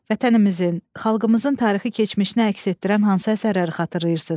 Vətənimizin, xalqımızın tarixi keçmişini əks etdirən hansı əsərləri xatırlayırsınız?